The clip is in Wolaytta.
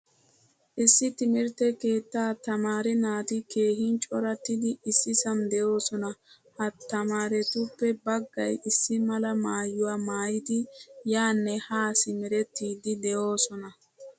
Issi timirtte keetta tamaare naati keehin corattidi issisan deosona. Ha tamaarettuppe baggay issi mala maayuwaa maayidi yaane ha simerettidi de'osona.